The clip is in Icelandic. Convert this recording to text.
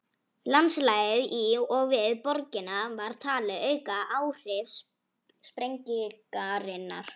Landslagið í og við borgina var talið auka áhrif sprengingarinnar.